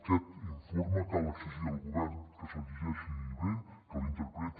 aquest informe cal exigir al govern que se’l llegeixi bé que l’interpreti